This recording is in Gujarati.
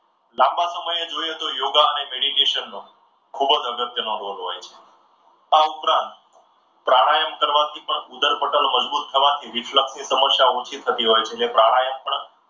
લાંબા સમયે જોઈએ તો યોગા અને મેડીટેશન ખૂબ જ અગત્યનો રોલ હોય છે. આ ઉપરાંત પ્રાણાયામ કરવાથી પણ ઉદરપટલ મજબૂત થવાથી reflect ની સમસ્યાઓ ઓછી થતી હોય છે. એટલે પ્રાણાયામ પણ